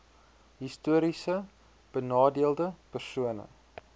histories benadeelde persone